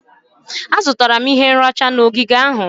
Azụtara m ihe nracha na ogige ahụ.